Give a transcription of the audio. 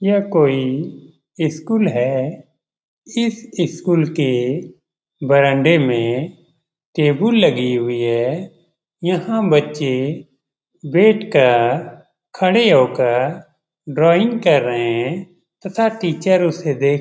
यह कोई स्कूल है इस स्कूल के बरांडे में टेबुल लगी हुई है यहां बच्चे बैठ कर खड़े होकर ड्राइंग कर रहे हैं तथा टीचर उसे देख --